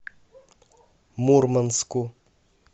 мурманску